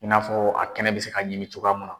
I n'a fɔ a kɛnɛ bɛ se ka ɲimi cogoya munna.